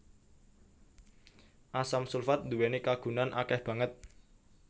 Asam sulfat nduwèni kagunan akèh banget